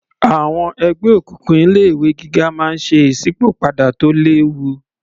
Àwọn ẹgbẹ́ òkùnkùn ilé ìwé gíga máa ń ṣe ìsípò padà tó léwu